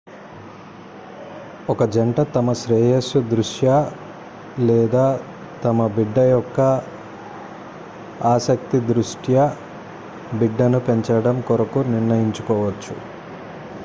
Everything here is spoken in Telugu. ఒక జంట తమ శ్రేయస్సు దృష్ట్యా లేదా తమ బిడ్డ యొక్క ఆసక్తి దృష్ట్యా బిడ్డను పెంచడం కొరకు నిర్ణయించుకోవచ్చు